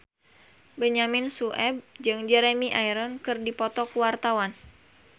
Benyamin Sueb jeung Jeremy Irons keur dipoto ku wartawan